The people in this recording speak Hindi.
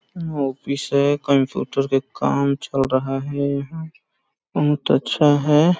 ऑफिस है कंप्यूटर के काम चल रहा है यहाँ बहुत अच्छा हैं ।